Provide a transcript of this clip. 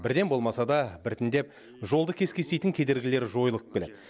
бірден болмаса да біртіндеп жолды кес кестейтін кедергілер жойылып келеді